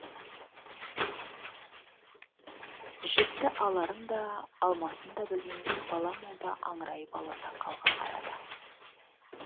жіпті аларын да алмасын да білмей бала молда аңырайып ала сақалға қарады